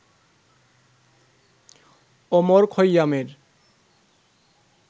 Omar খৈয়ামের